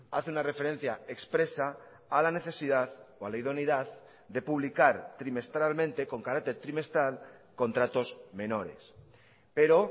hace una referencia expresa a la necesidad o a la idoneidad de publicar trimestralmente con carácter trimestral contratos menores pero